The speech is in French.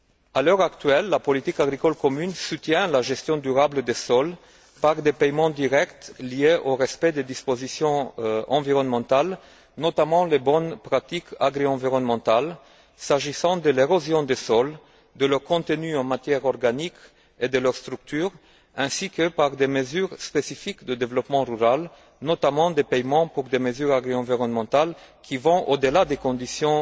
À l'heure actuelle, la politique agricole commune soutient la gestion durable des sols par des paiements directs liés au respect des dispositions environnementales, notamment les bonnes pratiques agri environnementales s'agissant de l'érosion des sols, de leur contenu en matières organiques et de leur structure, ainsi que par des mesures spécifiques de développement rural, notamment des paiements pour des mesures agri environnementales qui vont au delà des conditions